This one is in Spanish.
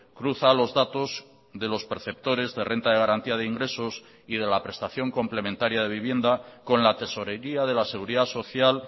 cruza los datos de los perceptores de renta de garantía de ingresos y de la prestación complementaria de vivienda con la tesorería de la seguridad social